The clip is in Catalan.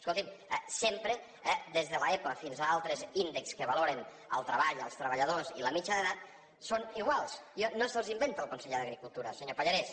escolti’m sempre des de l’epa fins a altres índexs que valoren el treball els treballadors i la mitjana d’edat són iguals no se’ls inventa el conseller d’agricultura senyor pallarès